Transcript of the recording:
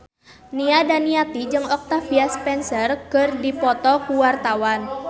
Nia Daniati jeung Octavia Spencer keur dipoto ku wartawan